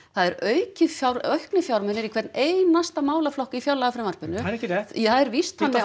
það eru auknir auknir fjármunir í hvern einasta málaflokk í fjárlagafrumvarpinu það er ekki rétt það er víst þannig